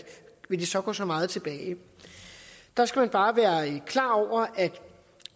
det så vil gå så meget tilbage der skal man bare være klar over at